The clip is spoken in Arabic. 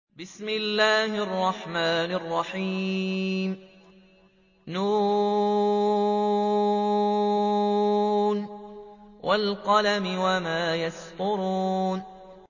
ن ۚ وَالْقَلَمِ وَمَا يَسْطُرُونَ